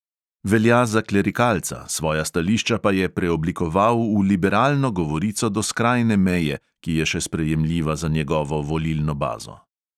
Velja za klerikalca, svoja stališča pa je preoblikoval v liberalno govorico do skrajne meje, ki je še sprejemljiva za njegovo volilno bazo.